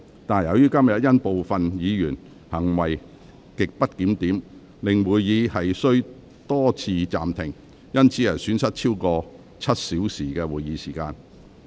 但由於今天部分議員行為極不檢點，令會議多次暫停，以致損失超過7小時的會議時間。